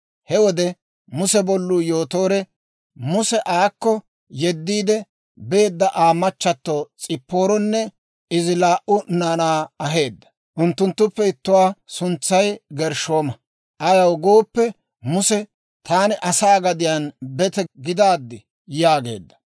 He wode Muse bolluu, Yootoore, Muse aakko yediidde beedda Aa machato S'ipaaronne izi laa"u naanaa aheedda. Unttunttuppe ittuwaa suntsay Gershshooma; ayaw gooppe, Muse, «Taani asaa gadiyaan bete gidaad» yaageedda.